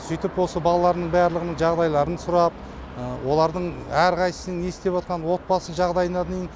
сөйтіп осы балалардың барлығының жағдайларын сұрап олардың әрқайсысының не істеватқанын отбасылық жағдайына дейін